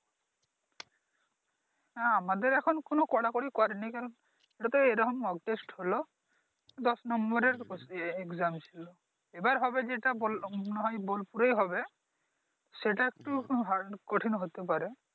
হ্যাঁ আমাদের এখন কোন কড়াকড়ি করে নি কারন এইটা তো এইরকম Mock test হলো দশ নম্বরের এক্সাম ছিলো । এইবার হবে যেটা বোল মনে হয় বোল পুরেই হবে সেটা একটু Hard কঠিন হতে পারে